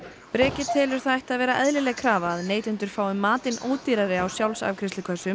Breki telur það ætti að vera eðlileg krafa að neytendur fái matinn ódýrari á